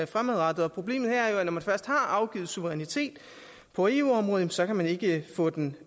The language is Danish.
fremadrettet og problemet her er jo at når man først har afgivet suverænitet på eu området så kan man ikke få den